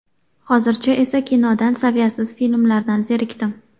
Hozircha esa kinodan saviyasiz filmlardan zerikdim.